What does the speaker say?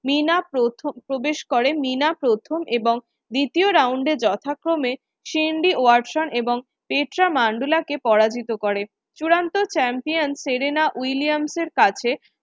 প্রথম প্রবেশ করেন নিনা প্রথম এবং দ্বিতীয় round এ যথাক্রমে এবং কে পরাজিত করে চূড়ান্ত champion সেরেনা উইলিয়ামস এর কাছে।